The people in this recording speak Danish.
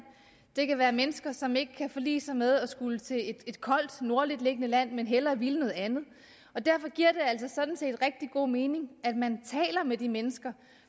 det kan være mennesker som ikke kan forlige sig med at skulle til et koldt nordligt beliggende land men hellere vil noget andet og derfor giver altså sådan set rigtig god mening at man taler med de mennesker